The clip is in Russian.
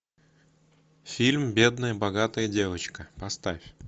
фильм бедная богатая девочка поставь